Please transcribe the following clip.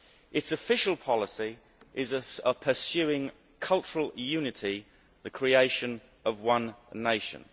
Its official policy is the pursuit of cultural unity the creation of one nation.